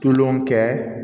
Tulon kɛ